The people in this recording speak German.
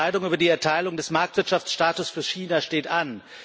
Die Entscheidung über die Erteilung des Marktwirtschaftsstatus für China steht an.